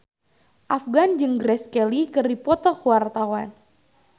Afgan jeung Grace Kelly keur dipoto ku wartawan